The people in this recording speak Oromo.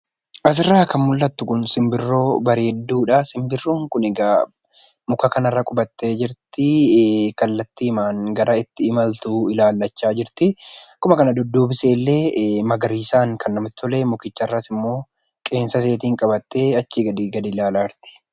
Asirraa kan mul'attu kuni simbirroo bareedduudha. Simbirroon kuni egaa muka kanarra qubattee jirti. Kallattiimaan gara itti imaltu ilaallachaa jirti. Akkuma kana dudduubi isee illee magariisaan kan namatti tole, mukichas irra immoo qeensa iseetiin qabattee achii gadi ilaalaa jirti.